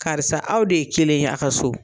Karisa aw de ye kelen ɲɛ a ka so.